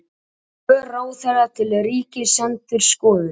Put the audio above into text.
Svör ráðherra til Ríkisendurskoðunar